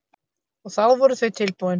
Og þá voru þau tilbúin.